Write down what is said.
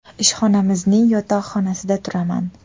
Ishxonamizning yotoqxonasida turaman.